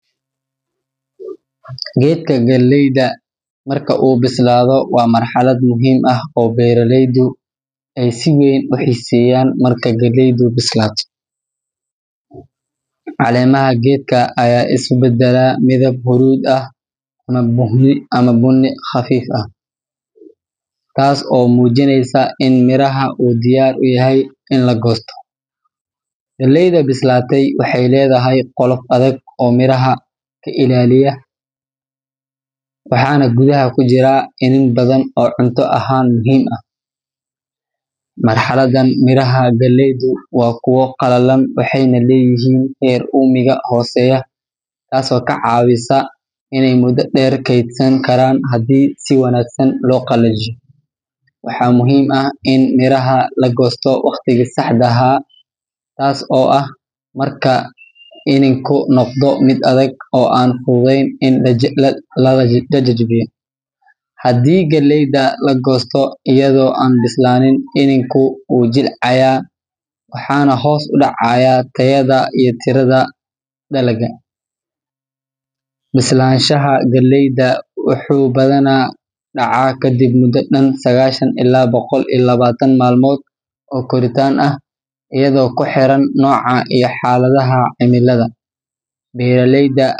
Geedka galleyda marka uu bislaado waa marxalad muhiim ah oo beeraleydu ay si weyn u xiiseeyaan. Marka galleydu bislaato, caleemaha geedka ayaa isu beddela midab huruud ah ama bunni khafiif ah, taas oo muujinaysa in miraha uu diyaar u yahay in la goosto. Galleyda bislaatay waxay leedahay qolof adag oo miraha ka ilaaliya, waxaana gudaha ku jira iniin badan oo cunto ahaan muhiim ah. Marxaladdan, miraha galleydu waa kuwo qallalan, waxayna leeyihiin heer uumiga hooseeya, taasoo ka caawisa inay muddo dheer kaydsan karaan haddii si wanaagsan loo qalajiyo. Waxaa muhiim ah in miraha la goosto waqtigii saxda ahaa, taas oo ah marka iniinku noqdo mid adag oo aan fududeyn in la jajabiyo. Haddii galleyda la goosto iyadoo aan bislaanin, iniinku wuu jilciyaa waxaana hoos u dhacaya tayada iyo tirada dalagga. Bislaanshaha galleyda wuxuu badanaa dhacaa kadib muddo dhan sagaashan ilaa boqol iyo labaatan maalmood oo koritaan ah, iyadoo ku xiran nooca iyo xaaladaha cimilada. Beeraleyda.